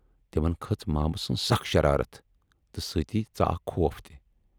تِمن کھٔژ مامہٕ سٕنز سخ شرارتھ تہٕ سۭتۍ ژاکھ خوف تہِ۔